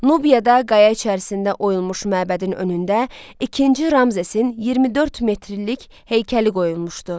Nubiyada qaya içərisində oyulmuş məbədin önündə ikinci Ramzesin 24 metrilik heykəli qoyulmuşdu.